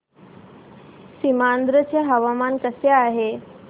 सीमांध्र चे हवामान कसे आहे